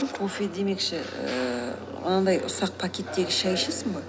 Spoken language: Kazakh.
кофе демекші ііі анандай ұсақ пакеттегі шай ішесің бе